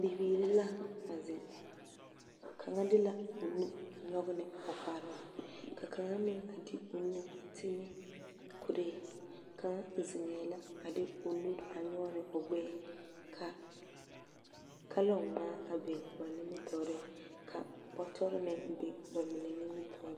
Bibiiri la a zeŋ, kaŋa de la o nu nyɔge ne o noɔre, ka kaŋa meŋ a de o nu a ti ne kuree. Kaŋa zeŋɛɛ la a de o nu a nyɔge ne o gbɛɛ. Ka kalɔɔŋmaa a biŋ a ba nimmitɔɔre, ka bɔtɔre meŋ a biŋ a ba nimmitɔɔreŋ.